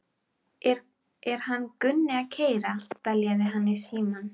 Er hann Gunni að keyra,- beljaði hann í símann?